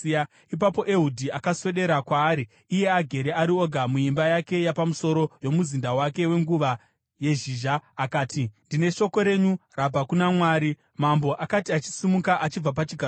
Ipapo Ehudhi akaswedera kwaari iye agere ari oga muimba yake yapamusoro yomuzinda wake wenguva yezhizha akati, “Ndine shoko renyu rabva kuna Mwari,” Mambo akati achisimuka achibva pachigaro chake,